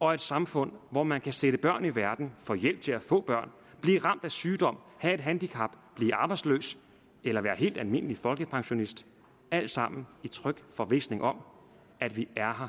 og et samfund hvor man kan sætte børn i verden få hjælp til at få børn blive ramt af sygdom have et handicap blive arbejdsløs eller være helt almindelig folkepensionist alt sammen i tryg forvisning om at vi er her